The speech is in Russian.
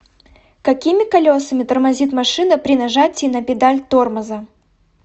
какими колесами тормозит машина при нажатии на педаль тормоза